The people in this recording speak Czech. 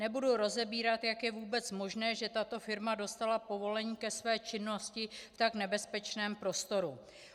Nebudu rozebírat, jak je vůbec možné, že tato firma dostala povolení ke své činnosti v tak nebezpečném prostoru.